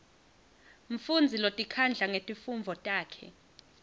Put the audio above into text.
mfundzi lotikhandla ngetifundvo takhe